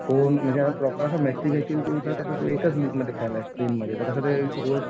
कोण असं तू तर एकच लीग मध्ये खेळलायस स्पेनमध्ये तसं ते रोज